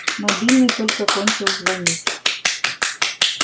мобильный только кончил звонить